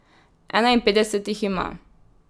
Enainpetdeset jih ima.